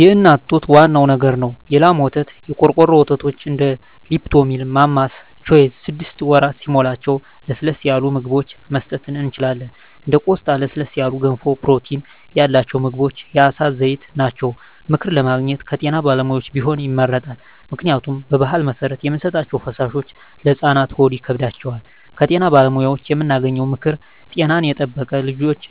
የእናት ጡት ዋናው ነገር ነው የላም ወተት , የቆርቆሮ ወተቶች እንደ ሊፕቶሚል ማማስ ቾይዥ ስድስት ወር ሲሞላቸው ለስለስ ያሉ ምግብችን መስጠት እንችላለን እንደ ቆስጣ ለስለስ ያሉ ገንፎ ፕሮቲን ያላቸው ምግቦች የአሳ ዘይት ናቸው። ምክር ለማግኘት ከጤና ባለሙያዎች ቢሆን ይመረጣል ምክንያቱም በባህል መሰረት የምንሰጣቸዉ ፈሳሾች ለህፃናት ሆድ ይከብዳቸዋል። ከጤና ባለሙያዎች የምናገኘው ምክር ጤናን የጠበቀ ልጅች